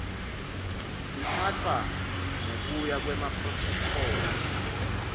siphatfwa ngekuya kwemaphrothokholi